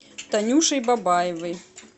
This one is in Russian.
танюшей бабаевой